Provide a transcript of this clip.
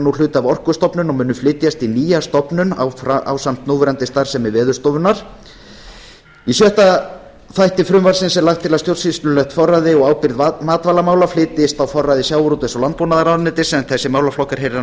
nú hluti af orkustofnun og munu flytjast í nýja stofnun ásamt núverandi starfsemi veðurstofunnar í sjöunda þætti er lagt til að stjórnsýslulegt forræði og ábyrgð matvælamála flytjist á forræði sjávarútvegs og landbúnaðarráðuneytis en þessi málaflokkur heyrir